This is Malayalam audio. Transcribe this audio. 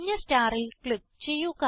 മഞ്ഞ starൽ ക്ലിക്ക് ചെയ്യുക